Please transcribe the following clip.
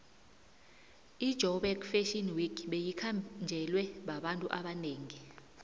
ijoburg fashion week beyikhanjelwe babantu abanengi